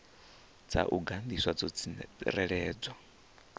dza u gandiswa dzo tsireledzwa